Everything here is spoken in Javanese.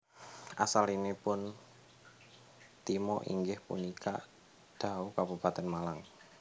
Asalipun Timo inggih punika Dau Kabupaten Malang